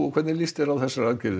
hvernig líst þér á þessar aðgerðir